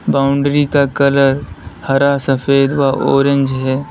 Boundary का colour हरा सफेद व ऑरेंज है।